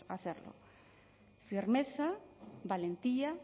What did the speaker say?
hacerlo firmeza valentía